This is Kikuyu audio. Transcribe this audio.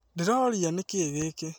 Ndĩroria, nĩ kĩĩ gĩkĩ?